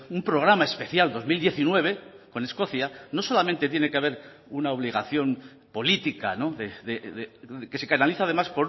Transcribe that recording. un programa especial dos mil diecinueve con escocia no solamente tiene que haber una obligación política que se canaliza además